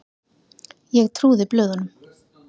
Ég trúði blöðunum.